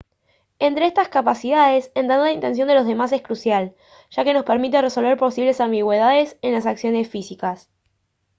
entre estas capacidades entender la intención de los demás es crucial ya que nos permite resolver posibles ambigüedades en las acciones físicas